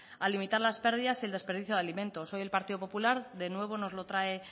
a limitar las pérdidas y el desperdicio de alimentos hoy el partido popular de nuevo nos lo trae